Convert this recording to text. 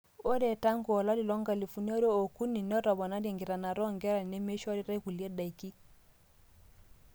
ore tangu olari loonkalifuni are ookuni netopone enkitanaata oonkera nemeishoritai inkulie daiki